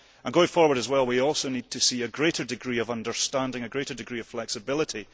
Going forward as well, we also need to see a greater degree of understanding, a greater degree of flexibility.